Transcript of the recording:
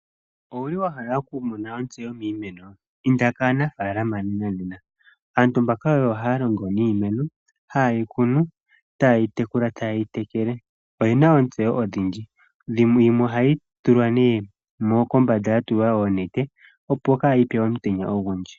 Owuli wahala okumona otseyo miimeno? Inda kaanafaalama nena nena, aantu mbaka oyo haya longo niimeno ha yeyi kuna, taayi tekula, taayi tekele. Oyena ootseyo odhindji, yimwe oha ye yi tula ne kombanda yatulwa oonetete opo kayi pye omutenya ogundji.